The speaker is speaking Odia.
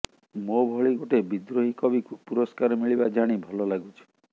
ମୋ ଭଳି ଗୋଟେ ବିଦ୍ରୋହୀ କବିକୁ ପୁରସ୍କାର ମିଳିବା ଜାଣି ଭଲ ଲାଗୁଛି